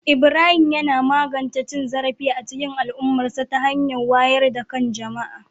Ibrahim yana magance cin zarafi a cikin al'ummarsa ta hanyar wayar da kan jama'a